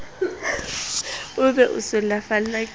o be o sulafallwa ke